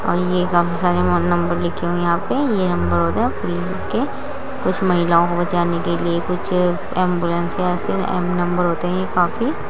यह काफी सारे फोन नंबर लिखे है। यहाँ पे ये नंबर हो गया पुलिस के कुछ महिलाओं को बचाने के लिए कुछ एंबुलेंस से एम नंबर होते हैं। यह काफी --